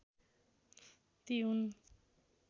ती हुन्